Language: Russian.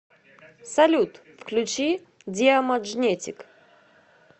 салют включи диамаджнетик